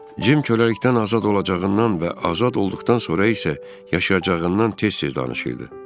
Cim köləlikdən azad olacağından və azad olduqdan sonra isə yaşayacağından tez-tez danışırdı.